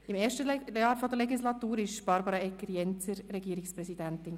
Im ersten Jahr der Legislatur war Barbara Egger-Jenzer Regierungspräsidentin.